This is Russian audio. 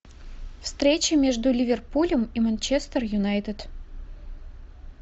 встреча между ливерпулем и манчестер юнайтед